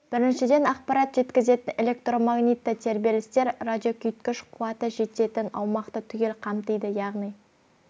біріншіден ақпарат жеткізетін электромагнитті тербелістер радиокүшейткіш қуаты жететін аумақты түгел қамтиды яғни